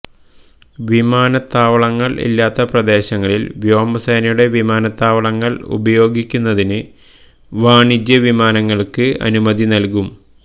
വിമാനത്താവളങ്ങള് ഇല്ലാത്ത പ്രദേശങ്ങളില് വ്യോമസേനയുടെ വിമാനത്താവളങ്ങള് ഉപയോഗിക്കുന്നതിന് വാണിജ്യ വിമാനങ്ങള്ക്ക് അനുമതി നല്കും